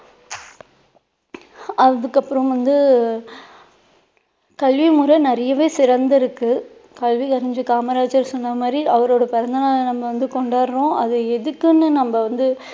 அதுக்கப்பறம் வந்து கல்விமுறை நிறையவே சிறந்து இருக்கு கல்வி அறிஞர் காமராஜர் சொன்ன மாதிரி அவரோட பிறந்த நாளை நம்ம வந்து கொண்டாடுறோம் அது எதுக்குன்னு நம்ம வந்து